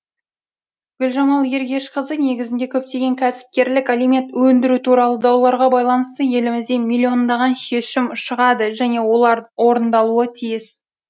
гүлжамал ергешқызы негізінде көптеген кәсіпкерлік алимент өндіру туралы дауларға байланысты елімізде миллиондаған шешім шығады және олар орындалуы тиіс